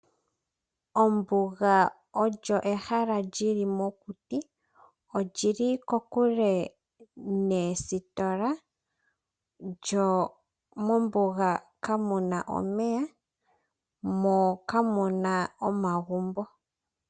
Ombuga olyo ehala lili mokuti. Oli li kokule noositola mo kamuna omeya nomagumbo.